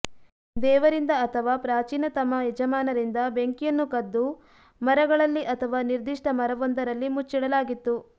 ದೇವರಿಂದ ಅಥವಾ ಪ್ರಾಚೀನತಮ ಯಜಮಾನರಿಂದ ಬೆಂಕಿಯನ್ನು ಕದ್ದು ಮರಗಳಲ್ಲಿ ಅಥವಾ ನಿರ್ದಿಷ್ಟ ಮರವೊಂದರಲ್ಲಿ ಮುಚ್ಚಿಡಲಾಗಿತ್ತು